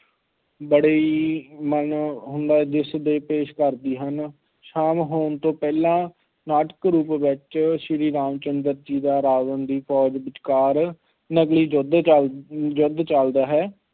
ਬੜੀ ਮਨੋਰੰਜਕ ਦ੍ਰਿਸ਼ ਪੇਸ ਕਰਦੀ ਹਨ, ਸ਼ਾਮ ਹੋਣ ਤੋਂ ਪਹਿਲਾਂ ਨਾਟਕ ਰੂਪ ਵਿੱਚ ਸ੍ਰੀ ਰਾਮ ਚੰਦਰ ਜੀ ਦਾ ਰਾਵਣ ਦੀ ਫੋਜ ਵਿਚਕਾਰ ਨਕਲੀ ਯੁੱਧ ਚੱਲ~, ਯੁੱਧ ਚੱਲਦਾ ਹੈ।